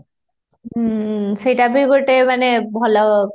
ହୁଁ ସେଟ ଭି ଗୋଟେ ମାନେ ଭଲ